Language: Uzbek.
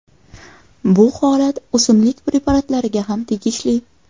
Bu holat o‘simlik preparatlariga ham tegishli.